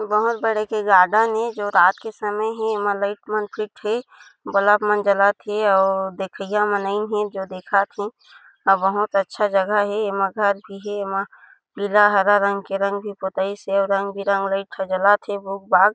बहुत बड़े एक गार्डन ए जो रात के समय हे एमा लाइट मन फिट हे बलब बल्ब मन जलत हे और देखइया मन आइन हे जो देखत हे आऊ बहुत अच्छा जगह हे एमा घर भी हे एमा पीला हरा रंग के रंग भी पोताईस हे अऊ रंग-बिरंग लाइट ह जलत हे बुग-बाग--